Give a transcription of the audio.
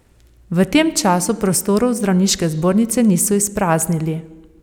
V tem času prostorov zdravniške zbornice niso izpraznili.